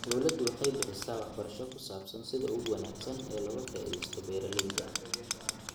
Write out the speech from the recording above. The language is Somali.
Dawladdu waxay bixisaa waxbarasho ku saabsan sida ugu wanaagsan ee looga faa'iidaysto beeralayda.